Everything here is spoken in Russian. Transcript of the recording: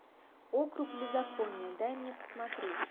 округ беззакония дай мне посмотреть